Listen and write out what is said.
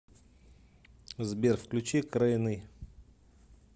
сбер включи крэйн и